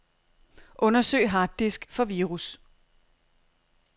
Undersøg harddisk for virus.